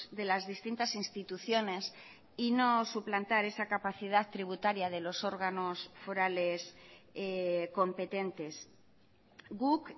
de las distintas instituciones y no suplantar esa capacidad tributaria de los órganos forales competentes guk